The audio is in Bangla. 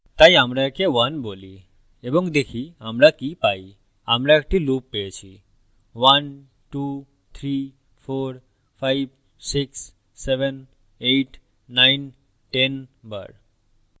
তাই আমরা okay 1 বলি এবং দেখি আমরা কি পাই আমরা একটি loop পেয়েছি 12345678910 বার